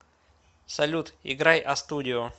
салют играй а студио